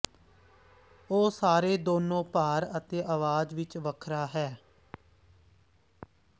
ਉਹ ਸਾਰੇ ਦੋਨੋ ਭਾਰ ਅਤੇ ਆਵਾਜ਼ ਵਿੱਚ ਵੱਖਰਾ ਹੈ